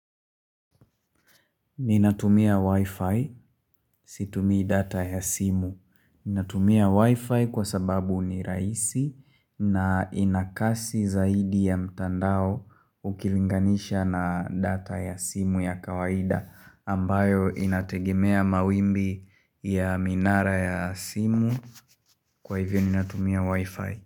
Ninatumia wifi, situmii data ya simu. Ninatumia wifi kwa sababu ni rahisi na ina kasi zaidi ya mtandao ukilinganisha na data ya simu ya kawaida ambayo inategemea mawimbi ya minara ya simu kwa hivyo ninatumia wifi.